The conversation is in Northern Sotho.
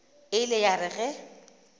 e ile ya re ge